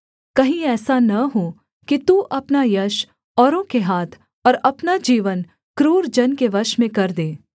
कहीं ऐसा न हो कि तू अपना यश औरों के हाथ और अपना जीवन क्रूर जन के वश में कर दे